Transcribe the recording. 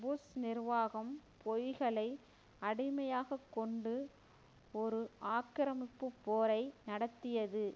push நிர்வாகம் பொய்களை அடிமையாக கொண்டு ஒரு ஆக்கிரமிப்பு போரை நடத்தியது